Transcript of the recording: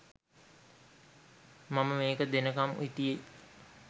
මම මේක දෙනකම් හිටියේ